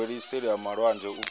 wele seli ha malwanzhe u